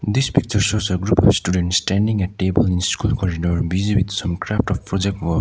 this picture shows a group of students standing a table in school corridor busy with some craft or project work.